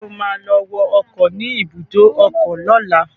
Ṣé o ma lọ wọ ọkọ̀ ni ibùdó ọkọ lọ́la?